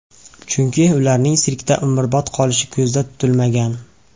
Chunki ularning sirkda umrbod qolishi ko‘zga tutilmagan.